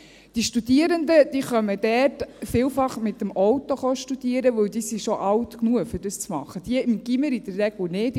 Die Studierenden kommen dort vielfach mit dem Auto hin, weil sie schon alt genug sind, um das zu machen, diejenigen, welche im Gymnasium sind, in der Regel nicht;